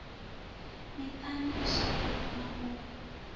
miṱani i shayaho na u